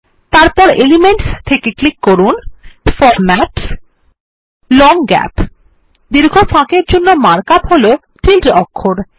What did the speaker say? তারপর এলিমেন্টস থেকে ক্লিক করুন ফরম্যাটসগট লং গ্যাপ দীর্ঘ ফাঁকের জন্য মার্ক আপ হল টিল্ডে অক্ষর